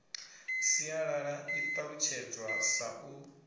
sialala i ṱalutshedzwa sa u